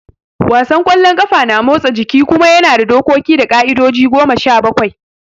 Wasan kwallon ƙafa na motsa jiki kuma yana da dokoki da ƙa'idoji goma sha bakwai